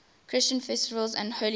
christian festivals and holy days